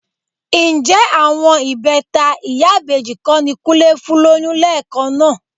Ǹjẹ́ àwọn ìbẹta ìyá ìbejì kọ́ ni Kúnlé fún lóyún lẹ́ẹ̀kan náà?